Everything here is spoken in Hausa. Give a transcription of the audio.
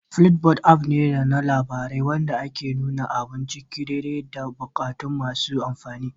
Flipboard app ne na labarai wanda ke nuna abun ciki daidai da bukatun masu amfani